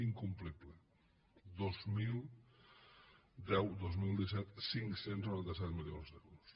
incomplible dos mil deu dos mil disset cinc cents i noranta set milions d’euros